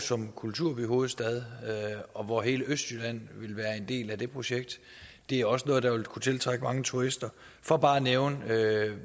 som kulturhovedstad og hele østjylland vil være en del af det projekt det er også noget der vil kunne tiltrække mange turister for bare at nævne